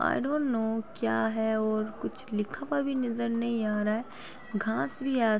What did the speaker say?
I don't know क्या है और कुछ लिखा वा भी नजर नहीं आ रहा है। घांस भी है आस् --